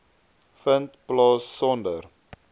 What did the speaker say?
vind plaas sonder